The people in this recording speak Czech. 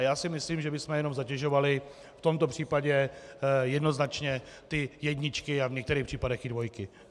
A já si myslím, že bychom jenom zatěžovali v tomto případě jednoznačně ty jedničky a v některých případech i dvojky.